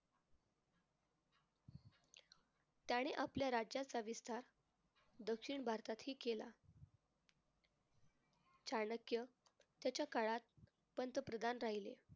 त्याने आपल्या राज्याचा विस्तार दक्षिण भारतातही केला. चाणक्य त्याच्या काळात पंतप्रधान राहिले.